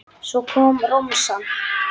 Svo kom romsan.